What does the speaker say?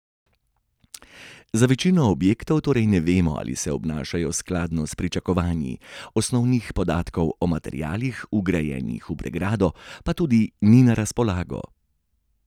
Za večino objektov torej ne vemo, ali se obnašajo skladno s pričakovanji, osnovnih podatkov o materialih, vgrajenih v pregrado, pa tudi ni na razpolago.